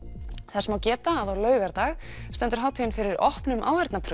þess má geta að á laugardag stendur hátíðin fyrir opnum